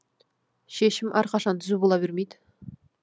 шешім әрқашан түзу бола бермейді